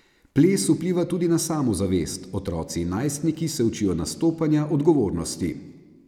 Ples vpliva tudi na samozavest, otroci in najstniki se učijo nastopanja, odgovornosti.